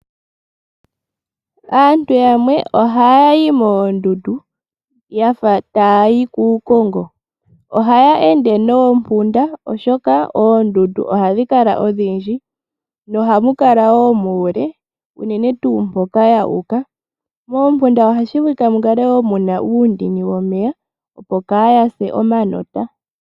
Aantu yamwe ohaya yi moondundu yafa taya yi kuukongo, ohaya ende noompunda oshoka oondundu ohadhi kala odhindji nohamu kala wo muule unene tuu mpoka ya uka, moompunda ohashi vulika mukale wo muna uundini womeya opo kaya se omanota